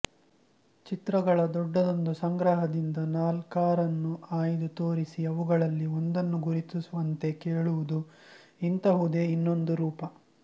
ಚಿತ್ರಗಳ ದೊಡ್ಡದೊಂದು ಸಂಗ್ರಹದಿಂದ ನಾಲ್ಕಾರನ್ನು ಆಯ್ದು ತೋರಿಸಿ ಅವುಗಳಲ್ಲಿ ಒಂದನ್ನು ಗುರುತಿಸುವಂತೆ ಕೇಳುವುದು ಇಂತಹುದೇ ಇನ್ನೊಂದು ರೂಪ